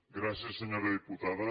gràcies senyora diputada